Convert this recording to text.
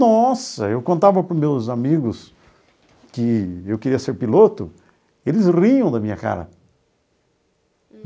Nossa, eu contava para os meus amigos que eu queria ser piloto, eles riam da minha cara.